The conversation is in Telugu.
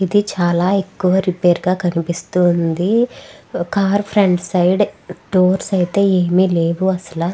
ఇది చాలా ఎక్కువ రిపేర్ గా కనిపిస్తుంది. కార్ ఫ్రెంట్ సైడ్ డోర్స్ అయితే ఏమి లేవు అసలా.